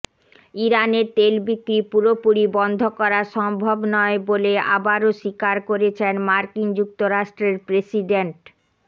ইরানের তেল বিক্রি পুরোপুরি বন্ধ করা সম্ভব নয় বলে আবারও স্বীকার করেছেন মার্কিন যুক্তরাষ্ট্রের প্রেসিডেন্ট